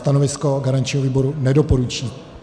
Stanovisko garančního výboru: nedoporučí.